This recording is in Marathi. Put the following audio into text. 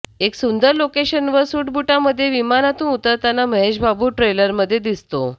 एका सुंदर लोकेशनवर सूटबूटामध्ये विमानातून उतरताना महेशबाबू ट्रेलरमध्ये दिसतो